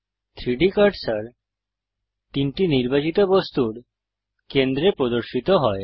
3ডি কার্সার 3টি নির্বাচিত বস্তুর কেন্দ্রে প্রদর্শিত হয়